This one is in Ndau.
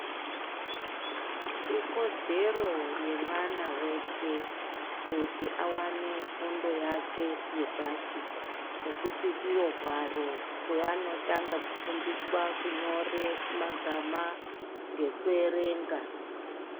Ikodzere yemwana weshe kuti awane fundo yake yepashi ngokuti diro hwaro kweanotanga kufundiswa kunyore magama ngokuyerenga.